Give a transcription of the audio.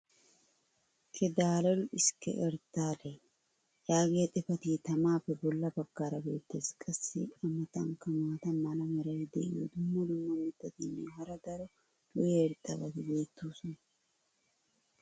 "ke dalol eske ertale" yaagiya xifatee tamaappe bola bagaara beetees. qassi a matankka maata mala meray diyo dumma dumma mitatinne hara daro lo'iya irxxabati beetoosona.